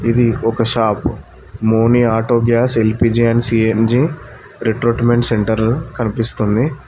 ఇది ఒక షాప్ ముని auto gas LPG and CNG recruitment centre కనిపిస్తుంది.